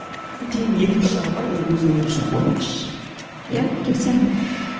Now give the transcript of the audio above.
тиынның екінші жағы бар ол өз өмірі үшін қорқыныш иә келісемін